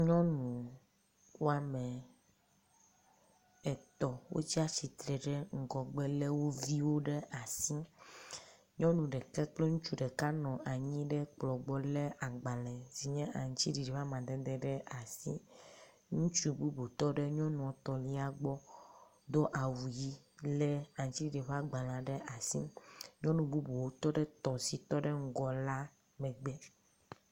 Nyɔnu wɔme etɔ̃ wotsi atsitre ɖe ŋgɔgbe le wo viwo ɖe asi. Nyɔnu ɖeka kple ŋutsu ɖeka nɔ anyi ɖe kplɔ gbɔ le agbale si nye aŋtsiɖiɖi ƒe amadede ɖe asi. Ŋutsu bubu tɔ ɖe nyɔnu etɔ̃lia gbɔ do awu ʋi le aŋtsiɖiɖi ƒe agbale ɖe asi. Nyɔnu bubuwo tɔ ɖe tɔ̃ si tɔ ɖe ŋgɔ la megbe.